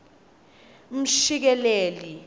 mshikeleli